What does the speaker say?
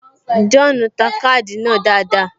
John ta káàdì náà dáadáa